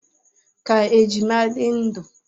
Ka ejima di ndu!